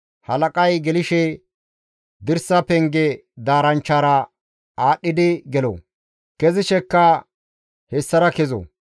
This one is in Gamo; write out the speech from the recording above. Halaqay gelththishe, dirsa penge daaranchchara aadhdhidi gelo; kezishekka hessara kezo.